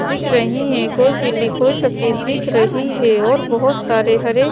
दिख रही हैं कोई पीली कोई सफेद दिख रही है और बहुत सारे हरे--